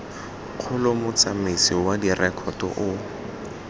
kgolo motsamaisi wa direkoto o